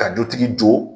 Ka dutigi don